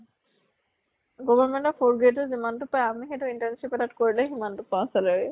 government ত fourth grade ত যিমানটো পাওঁ, আমি সেইটো internship ত তাত কৰিলে সিমান টো পাওঁ salary